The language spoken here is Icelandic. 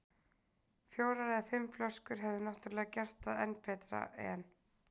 Fjórar eða fimm flöskur hefðu náttúrlega gert það enn betra, en